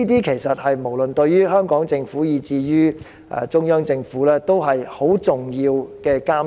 其實，無論是對香港政府，以至中央政府而言，這些也是十分重要的監察。